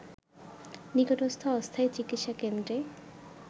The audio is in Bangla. নিকটস্থ অস্থায়ী চিকিৎসা কেন্দ্রে